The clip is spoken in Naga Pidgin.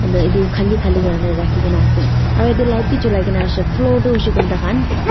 unta eto kali kali karne rakhikina ase aro yati light beh chulaikina ase floor toh hoishe koile taikan.